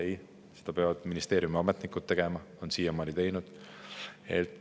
Ei, seda peavad tegema ministeeriumi ametnikud, siiamaani ongi teinud.